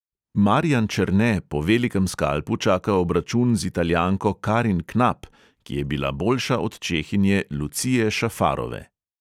Marijan černe po velikem skalpu čaka obračun z italijanko karin knap, ki je bila boljša od čehinje lucije šafarove.